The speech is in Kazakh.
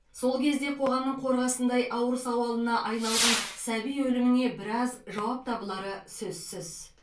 сол кезде қоғамның қорғасындай ауыр сауалына айналған сәби өліміне біраз жауап табылары сөзсіз